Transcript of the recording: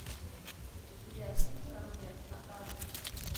видеофильм конверт показывай